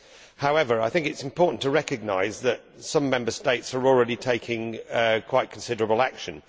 However, it is important to recognise that some Member States are already taking quite considerable action.